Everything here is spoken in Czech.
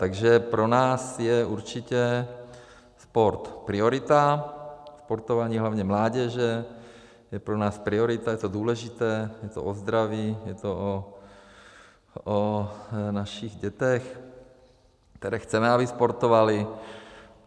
Takže pro nás je určitě sport priorita, sportování hlavně mládeže je pro nás priorita, je to důležité, je to o zdraví, je to o našich dětech, které chceme, aby sportovaly.